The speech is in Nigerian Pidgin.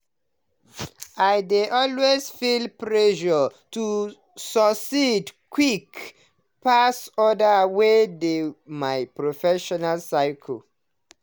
i dey always feel pressure to succeed quick pass others wey dey my professional circle.